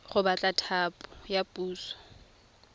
go batla thapo ya puso